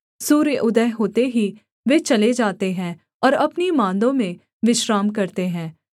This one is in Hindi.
सूर्य उदय होते ही वे चले जाते हैं और अपनी माँदों में विश्राम करते हैं